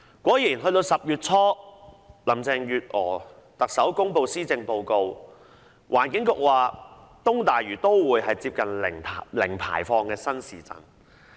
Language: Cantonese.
果然10月初特首林鄭月娥公布施政報告，環境局說東大嶼都會是接近零排放的新市鎮。